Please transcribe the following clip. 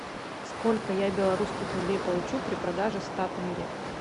сколько я белорусских рублей получу при продаже ста тенге